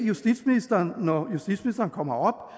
justitsministeren når justitsministeren kommer